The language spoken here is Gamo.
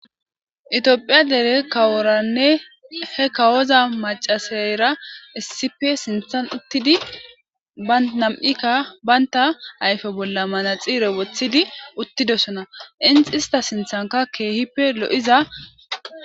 itiophiya dere kaworanne he kawoza macasayra essipe sinthan uttidi ba nam7ikka baynta ayfe bolla mana xiire woththidi uttidosona inxi ista sinthanka keehippe lo7iza